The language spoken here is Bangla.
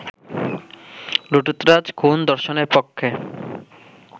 লুঠতরাজ-খুন-ধর্ষণের পক্ষে